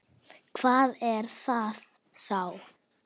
Hvað er það þá?